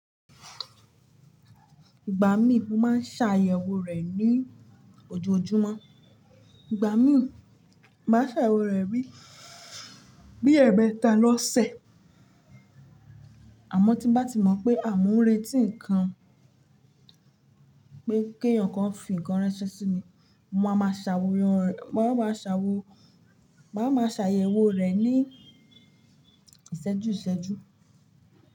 Ìgbà míì mo máa ń ṣàyẹ̀wò rẹ̀ ní ojoojúmọ́. Ìgbà míì mo máa ṣàyẹ̀wò rẹ̀ bí, bí ẹmẹ̀eta lọ́ ṣẹ. Àmọ́ tí n bá ti mọ̀ pé mo ń retí nǹkan, pé kí èeyàn kan fi ǹkan ránṣẹ́ sí mi, mo máa ma ṣàworan rẹ̀, máa ma ṣàwò, màá ma ṣàyẹ̀wò rẹ̀ ní ìṣẹ́jú ìṣẹ́jú.